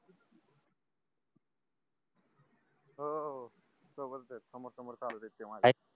हो सोबतच समोर समोर चाललये ते माझ्या